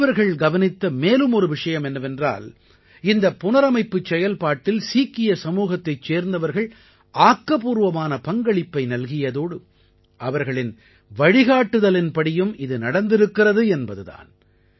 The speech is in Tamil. நடுவர்கள் கவனித்த மேலும் ஒரு விஷயம் என்னவென்றால் இந்தப் புனரமைப்புச் செயல்பாட்டில் சீக்கிய சமூகத்தைச் சேர்ந்தவர்கள் ஆக்கப்பூர்வமான பங்களிப்பை நல்கியதோடு அவர்களின் வழிகாட்டுதலின்படியும் இது நடந்திருக்கிறது என்பது தான்